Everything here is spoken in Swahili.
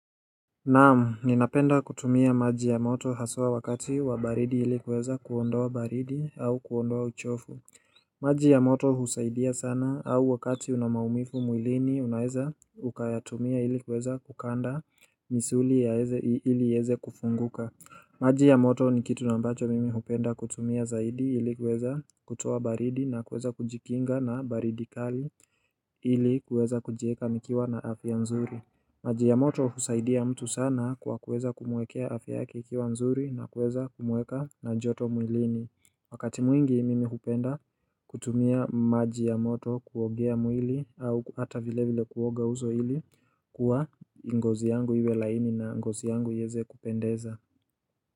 Naam, ninapenda kutumia maji ya moto haswa wakati wa baridi ili kuweza kuondoa baridi au kuondoa uchofu maji ya moto husaidia sana au wakati una maumifu mwilini unaeza ukayatumia ili kuweza kukanda misuli ili heze kufunguka maji ya moto ni kitu nambacho mimi hupenda kutumia zaidi ili kuweza kutoa baridi na kuweza kujikinga na baridi kali ili kuweza kujieka nikiwa na afya mzuri maji ya moto husaidia mtu sana kwa kuweza kumwekea afyake ikiwa mzuri na kuweza kumweka na joto mwilini Wakati mwingi mimi hupenda kutumia maji ya moto kuogea mwili au hata vile vile kuoga uzo hili kuwa ngozi yangu iwe laini na ngozi yangu yeze kupendeza.